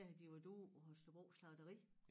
Der havde de været ude på Holstebro Slagteri